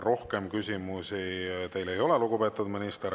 Rohkem küsimusi teile ei ole, lugupeetud minister.